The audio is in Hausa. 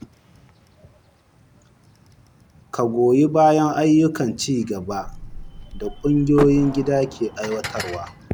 Ka goyi bayan ayyukan ci gaba da kungiyoyin gida ke aiwatarwa.